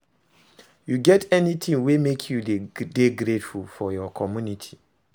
You get anything wey make you dey grateful for your community?